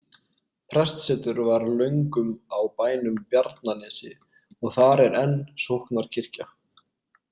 Prestsetur var löngum á bænum Bjarnanesi, og þar er enn sóknarkirkja.